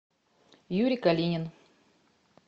юрий калинин